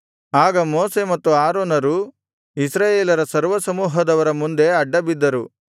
ಆಗ ಮೋಶೆ ಮತ್ತು ಆರೋನರು ಇಸ್ರಾಯೇಲರ ಸರ್ವಸಮೂಹದವರ ಮುಂದೆ ಅಡ್ಡಬಿದ್ದರು